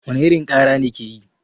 Wani irin kara ne ke yi?